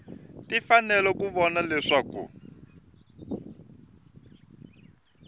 ti fanele ku vona leswaku